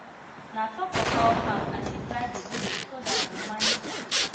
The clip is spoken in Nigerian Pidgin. na top of fowl house i dey dry vegetable so that i go manage space